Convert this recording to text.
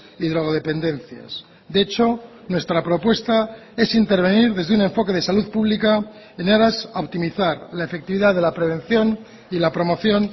y drogodependencias de hecho nuestra propuesta es intervenir desde un enfoque de salud pública en aras a optimizar la efectividad de la prevención y la promoción